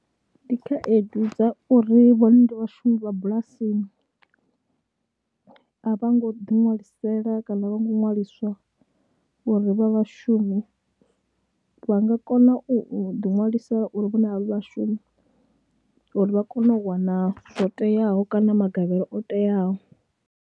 Ndi khaedu dza uri vhone ndi vhashumi vha bulasini a vho ngo ḓiṅwalisela kana a vho ngo ṅwaliswa uri vha vhashumi, vha nga kona u ḓiṅwalisela uri vhone a vha vhashumi uri vha kone u wana zwo teaho kana magavhelo o teaho.